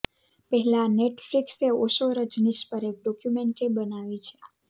આ પહેલાં નેટફ્લિક્સે ઓશો રજનીશ પર એક ડોક્યુમેન્ટ્રી બનાવી છે